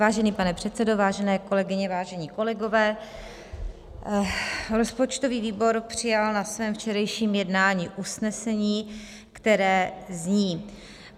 Vážený pane předsedo, vážené kolegyně, vážení kolegové, rozpočtový výbor přijal na svém včerejším jednání usnesení, které zní: